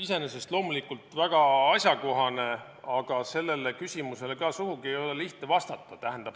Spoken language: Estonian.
Iseenesest loomulikult väga asjakohane, aga sellele küsimusele ei ole sugugi lihtne vastata.